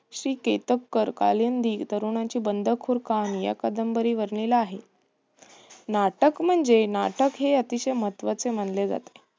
श्री केतकर कालिंदी तरुणाची बंडखोर कहाणी या कादंबरीवर बनलेला आहे. नाटक म्हणजे नाटक हे अतिशय महत्वाचे मानले जाते.